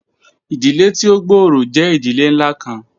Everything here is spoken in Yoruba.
Idile ti o gbooro jẹ idile nla kan